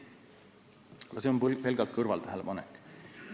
Aga see on pelgalt kõrvaltähelepanek.